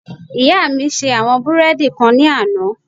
Ìyá mi ṣe àwọn búrẹ́ẹ́dì kan ní àná